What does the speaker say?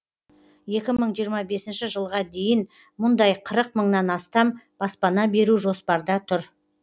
екі мың жиырма бесінші жылға дейін мұндай қырық мыңнан астам баспана беру жоспарда тұр